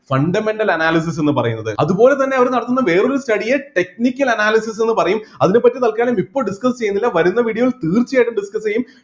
fundamental analysis എന്ന് പറയുന്നത് അതുപോലെതന്നെ അവിടെ നടത്തുന്ന വേറെ ഒരു study യെ technical analysis എന്ന് പറയും അതിനെപ്പറ്റി തൽക്കാരം ഇപ്പൊ discuss ചെയ്യുന്നില്ല വരുന്ന video ൽ തീർച്ചയായിട്ടും discuss ചെയ്യും